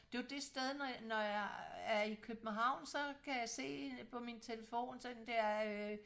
Det jo det sted når når jeg er i København så kan jeg se på min telefon den dér øh